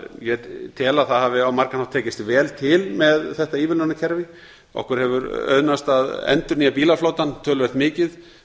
ég tel að það hafi á margan hátt tekist vel til með þetta ívilnunarkerfi okkur hefur auðnast að endurnýja bílaflotann töluvert mikið